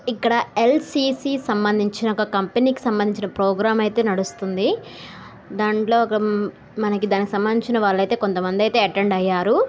ఇక్కడ ఎ.స్సి.సి సంబంధించిన ఒక కంపెనీకి సంబంధించిన ప్రోగ్రామ్ అయితే నడుస్తుంది దాంట్లో ఉమ్ మనకు దానికి సంబంధించిన వాళ్లయితే కొంతమంది అయితే అటెండ్ అయ్యారు.